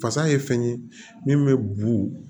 Fasa ye fɛn ye min bɛ bu